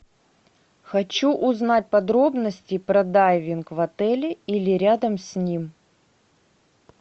хочу узнать подробности про дайвинг в отеле или рядом с ним